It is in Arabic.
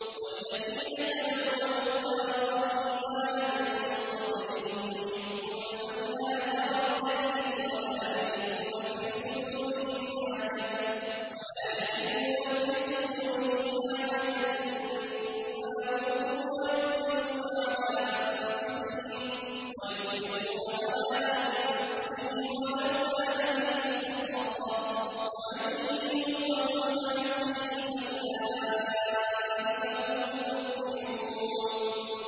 وَالَّذِينَ تَبَوَّءُوا الدَّارَ وَالْإِيمَانَ مِن قَبْلِهِمْ يُحِبُّونَ مَنْ هَاجَرَ إِلَيْهِمْ وَلَا يَجِدُونَ فِي صُدُورِهِمْ حَاجَةً مِّمَّا أُوتُوا وَيُؤْثِرُونَ عَلَىٰ أَنفُسِهِمْ وَلَوْ كَانَ بِهِمْ خَصَاصَةٌ ۚ وَمَن يُوقَ شُحَّ نَفْسِهِ فَأُولَٰئِكَ هُمُ الْمُفْلِحُونَ